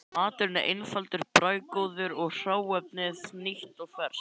Maturinn var einfaldur og bragðgóður og hráefnið nýtt og ferskt.